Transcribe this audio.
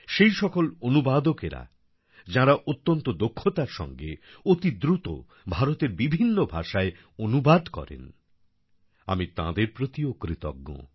সেসকল অনুবাদকেরা যাঁরা অত্যন্ত দক্ষতার সঙ্গে অতি দ্রুত ভারতের বিভিন্ন ভাষায় অনুবাদ করেন আমি তাঁদের প্রতিও কৃতজ্ঞ